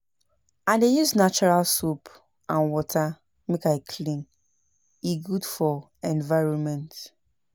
I dey use natural soap and water make I clean, e good for environment.